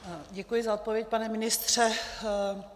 Děkuji za odpověď, pane ministře.